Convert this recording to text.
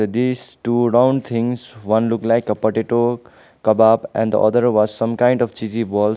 these two round things one look like a potato kebab and other was some kind of cheesy balls.